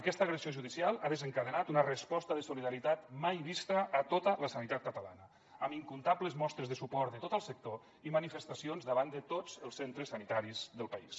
aquesta agressió judicial ha desencadenat una resposta de solidaritat mai vista a tota la sanitat catalana amb incomptables mostres de suport de tot el sector i manifestacions davant de tots els centres sanitaris del país